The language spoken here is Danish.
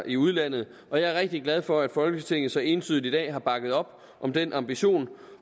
i udlandet og jeg er rigtig glad for at folketinget så entydigt i dag har bakket op om den ambition